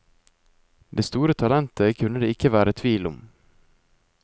Det store talentet kunne det ikke være tvil om.